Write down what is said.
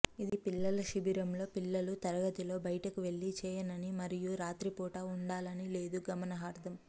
ఇది పిల్లల శిబిరంలో పిల్లలు తరగతిలో బయటకు వెళ్ళి చేయవని మరియు రాత్రిపూట ఉండాలని లేదు గమనార్హం